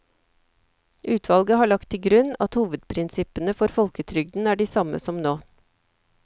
Utvalget har lagt til grunn at hovedprinsippene for folketrygden er de samme som nå.